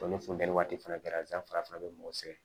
O ni funtɛni waati fana kɛra fana bɛ mɔgɔ sɛgɛn